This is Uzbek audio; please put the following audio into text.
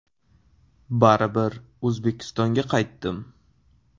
Baribir O‘zbekistonga qaytdim.